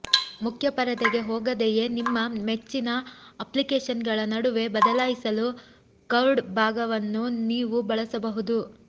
ಮುಖ್ಯ ಪರದೆಗೆ ಹೋಗದೆಯೇ ನಿಮ್ಮ ಮೆಚ್ಚಿನ ಅಪ್ಲಿಕೇಶನ್ಗಳ ನಡುವೆ ಬದಲಾಯಿಸಲು ಕರ್ವ್ಡ್ ಭಾಗವನ್ನು ನೀವು ಬಳಸಬಹುದು